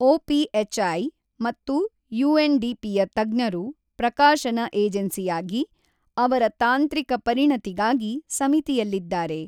OPHI ಮತ್ತು ಯುಎನ್ಡಿಪಿಯ ತಜ್ಞರು, ಪ್ರಕಾಶನ ಏಜೆನ್ಸಿಯಾಗಿ, ಅವರ ತಾಂತ್ರಿಕ ಪರಿಣತಿಗಾಗಿ ಸಮಿತಿಯಲ್ಲಿದ್ದಾರೆ.